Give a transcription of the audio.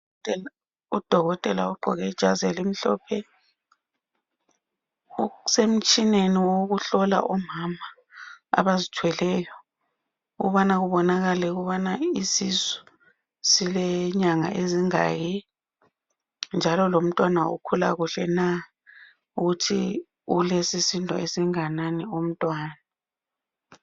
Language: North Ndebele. Udokotela ogqqoke ijazi elimhlophe usemtshineni wokuhlola omama abazithweleyo ukubana kubonakale ukubana isisu sile nyanga ezingaki njalo lomntwana ukhula kuhle na ukuthi ulesisindo esingakanani umntwana.